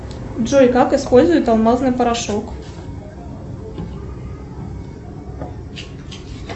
джой как используют алмазный порошок